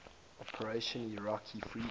operation iraqi freedom